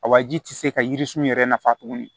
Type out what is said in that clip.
A waji tɛ se ka yiri sun yɛrɛ nafa tuguni